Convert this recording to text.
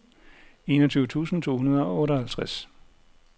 enogtyve tusind to hundrede og otteoghalvtreds